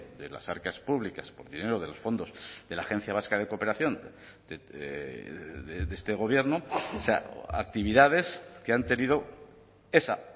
de las arcas públicas por dinero de los fondos de la agencia vasca de cooperación de este gobierno o sea actividades que han tenido esa